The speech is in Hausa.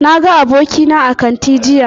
Na ga abokina a kanti jiya